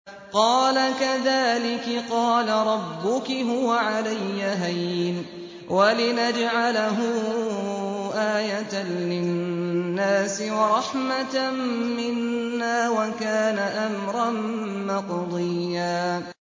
قَالَ كَذَٰلِكِ قَالَ رَبُّكِ هُوَ عَلَيَّ هَيِّنٌ ۖ وَلِنَجْعَلَهُ آيَةً لِّلنَّاسِ وَرَحْمَةً مِّنَّا ۚ وَكَانَ أَمْرًا مَّقْضِيًّا